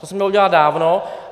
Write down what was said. To se mělo udělat dávno.